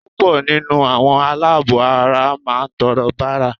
Púpọ̀ nínú àwọn aláàbọ̀-ara máà ń tọrọ bárà